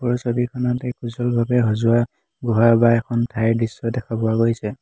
ওপৰৰ ছবিখনত সজোৱা গুহা বা এখন ঠাইৰ দৃশ্য দেখা পোৱা গৈছে।